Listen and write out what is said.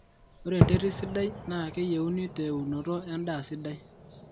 ore enterit sidai naa keyienu te eunoto endaa sidai